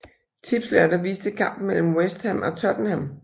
Tipslørdag viste kampen mellem West Ham og Tottenham